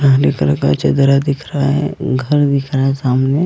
पुरानी तरह का चदरा दिख रहा है घर दिख रहा है सामने।